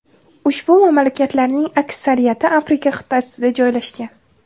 Ushbu mamlakatlarning aksariyati Afrika qit’asida joylashgan.